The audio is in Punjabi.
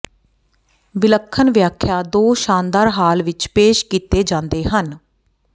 ਵਿਲੱਖਣ ਵਿਆਖਿਆ ਦੋ ਸ਼ਾਨਦਾਰ ਹਾਲ ਵਿੱਚ ਪੇਸ਼ ਕੀਤੇ ਜਾਂਦੇ ਹਨ